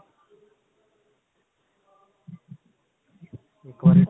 ਇਕ ਵਾਰ